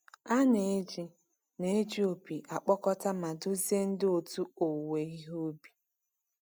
A na-eji na-eji opi akpọkọta ma duzie ndị otu owuwe ihe ubi.